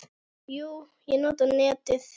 Jú, ég nota netið.